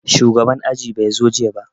Shugaban aji bai zo jiya ba